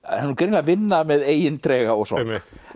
að vinna með eigin trega og sorg